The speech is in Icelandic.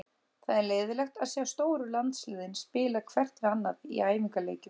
Það er leiðinlegt að sjá stóru landsliðin spila hvert við annað í æfingaleikjum.